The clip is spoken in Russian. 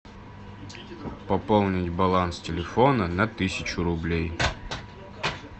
пополнить баланс телефона на тысячу рублей